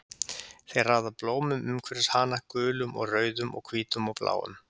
Þeir raða blómum umhverfis hana, gulum og rauðum og hvítum og bláum.